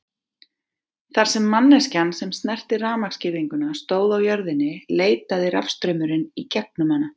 Þar sem manneskjan sem snerti rafmagnsgirðinguna stóð á jörðinni leitaði rafstraumurinn í gegnum hana.